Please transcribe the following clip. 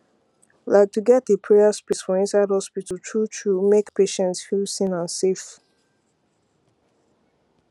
like to get a prayer space for inside hospital truetrue make patients feel seen and safe